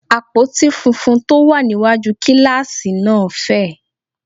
Àpótí funfun tó wà níwájú kíláàsì náà fẹ̀